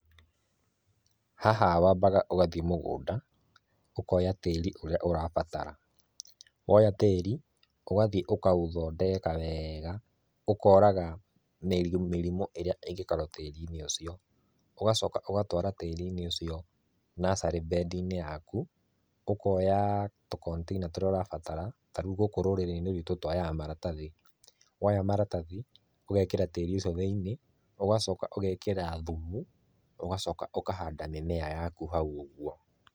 Haha wambaga ũgathiĩ mũgũnda ũkoya tĩri ũrĩa urabatara woya tĩri ũgathiĩ ũkaũthondeka wega ũkoraga mĩrimũ ĩrĩa ĩngĩkorwo tĩriinĩ ũcio ũgacoka ũgatwara tĩri ũcio nursery bed inĩ yaku ũkoya tũ container tũrĩa ũrabatara tarĩu rũrĩinĩ rwitũ twoyaga maratathi woya maratathi ũgekĩra tĩri ũcio thĩinĩ ũgacoka ũgekĩra thumu ũgacoka ũkahanda mĩmera yaku hau ũguo.